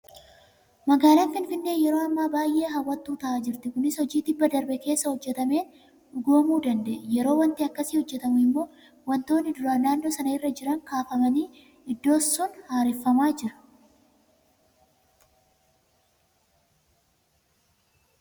Magaalaan Finfinnee yeroo ammaa baay'ee hawwattuu ta'aa jirti. Kunis hojii tibba darbe keessa hojjetameen dhugoomuu danda'e. Yeroo waanti akkasii hojjetamu immoo waantonni duraan naannoo sana irra jiran kaafamanii iddoon sun haareffamaa jira.